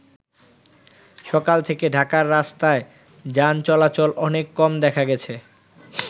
সকাল থেকে ঢাকার রাস্তায় যান চলাচল অনেক কম দেখা গেছে।